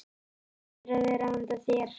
Það hlýtur að vera handa þér.